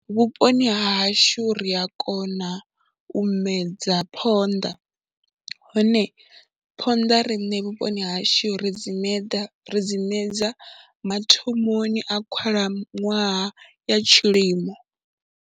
Vhuponi ha hashu ri a kona u medza phonḓa, hone phonḓa riṋe vhuponi hashu ri dzi meḓa ri dzi medza mathomoni a khalaṅwaha ya tshilimo.